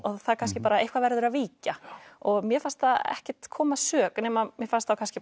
það kannski bara eitthvað verður að víkja og mér fannst það ekkert koma að sök mér fannst kannski